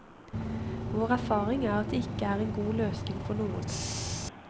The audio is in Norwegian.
Vår erfaring er at det ikke er en god løsning for noen.